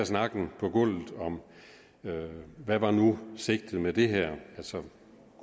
snakken på gulvet om hvad nu sigtet var med det her altså